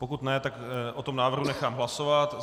Pokud ne, tak o tom návrhu nechám hlasovat.